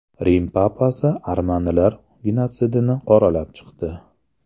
Rim papasi armanilar genotsidini qoralab chiqdi.